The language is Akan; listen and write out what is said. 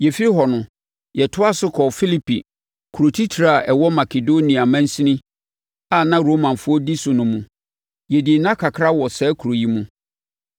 Yɛfiri hɔ no, yɛtoaa so kɔɔ Filipi, kuro titire a ɛwɔ Makedonia mansini a na Romafoɔ di so no mu. Yɛdii nna kakra wɔ saa kuro yi mu.